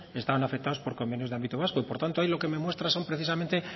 estaban afectados por convenios de ámbito vasco por tanto ahí lo que me muestra son precisamente